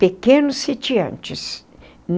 Pequenos sitiantes.